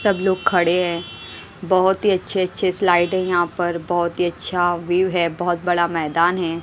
सब लोग खड़े हैं बहोत अच्छे अच्छे स्लाइड हैं यहां पर बहोत ही अच्छा व्यू है बहोत बड़ा मैदान है।